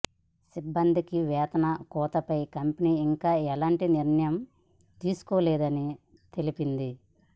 సిబ్బందికి వేతన కోతపై కంపెనీ ఇంకా ఎలాంటి నిర్ణయం తీసుకోలేదని తెలిపింది